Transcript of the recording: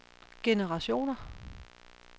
generationer